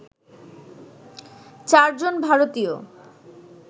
চারজন ভারতীয়